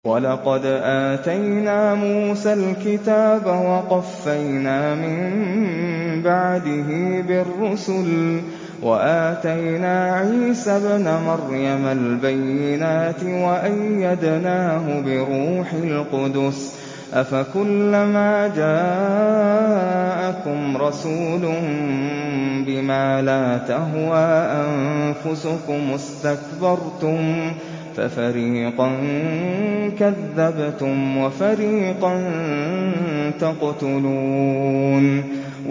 وَلَقَدْ آتَيْنَا مُوسَى الْكِتَابَ وَقَفَّيْنَا مِن بَعْدِهِ بِالرُّسُلِ ۖ وَآتَيْنَا عِيسَى ابْنَ مَرْيَمَ الْبَيِّنَاتِ وَأَيَّدْنَاهُ بِرُوحِ الْقُدُسِ ۗ أَفَكُلَّمَا جَاءَكُمْ رَسُولٌ بِمَا لَا تَهْوَىٰ أَنفُسُكُمُ اسْتَكْبَرْتُمْ فَفَرِيقًا كَذَّبْتُمْ وَفَرِيقًا تَقْتُلُونَ